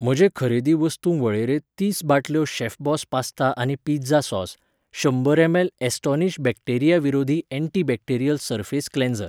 म्हजे खरेदी वस्तू वळेरेंत तीस बाटल्यो शेफबॉस पास्ता आनी पिझ्झा सॉस, शंबर एम एल ॲस्टोनिश बॅक्टेरिया विरोधी एन्टीबॅक्टेरियल सर्फेस क्लेन्सर.